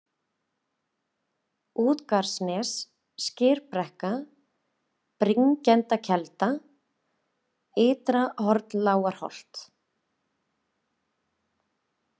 Útgarðanes, Skyrbrekka, Bringendakelda, Ytra-Hornlágarholt